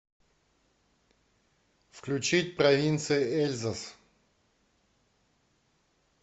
включить провинция эльзас